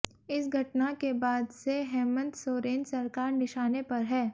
इस घटना के बाद से हेमंत सोरेन सरकार निशाने पर है